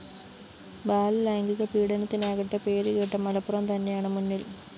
ബാലലൈംഗിക പീഡനത്തിനാകട്ടെ പേരുകേട്ട മലപ്പുറം തന്നെയാണ് മുന്നില്‍